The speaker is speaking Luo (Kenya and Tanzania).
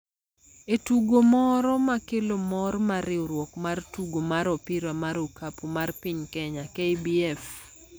e tugo moro ma kelo mor mar riwruok mar tugo mar Opira mar Okapu mar piny Kenya (KBF)